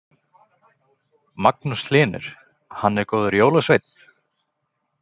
Magnús Hlynur: Hann er góður jólasveinn?